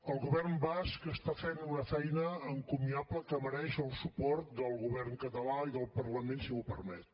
el govern basc està fent una feina encomiable que mereix el suport del govern català i del parlament si m’ho permet